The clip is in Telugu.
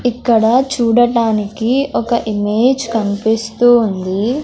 ఇక్కడ చూడటానికి ఒక ఇమేజ్ కన్పిస్తూ ఉంది.